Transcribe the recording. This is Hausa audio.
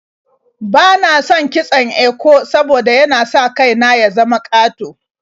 Bana son yin kitson eko saboda yana sa kai na ya zama ƙato.